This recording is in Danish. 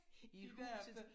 I huset